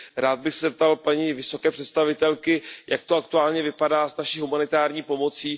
Rád bych se zeptal paní vysoké představitelky Jak to aktuálně vypadá s naší humanitární pomocí?